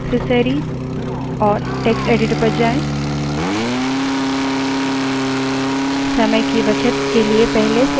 application> accessories> text editor पर जाएँ